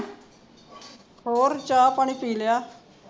ਹੋਰ ਚਾਅ ਪਾਣੀ ਪੀ ਲਿਆ